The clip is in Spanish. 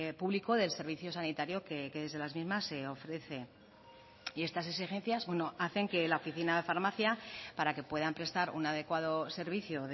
público del servicio sanitario que desde las mismas se ofrece y estas exigencias hacen que la oficina de farmacia para que puedan prestar un adecuado servicio